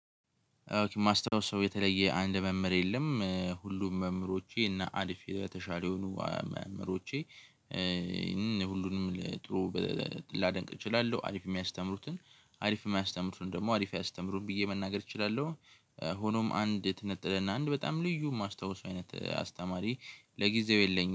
ማስታውሰው የተለየ አንድ መምህር የለም ሁሉም መምህሮቼ እና አልፌ በተሻለ የሆኑ መምህሮቼ ሁሉንም ለጥሩ ላደንቅ እችላለሁ። አሪፍ የሚያስተምሩትን አሪፍ የማያስተምሩን ደግሞ አሪፍ ያስተምሩን ብዬ መናገር እችላለሁ። ሆኖም አንድ ትንጥልና አንድ በጣም ልዩ የማስታውሰው አይነት አስተማሪ ለጊዜው የለኝም